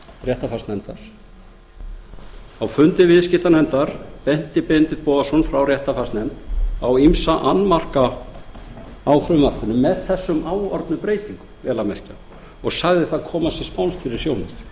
réttarfarsnefndar benti benedikt bogason frá réttarfarsnefnd á ýmsa annmarka á frumvarpinu með þessum áorðnu breytingum vel að merkja og sagði það koma sér spánskt fyrir sjónir